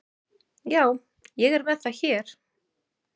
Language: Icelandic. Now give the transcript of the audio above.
Já, ég er með það hér.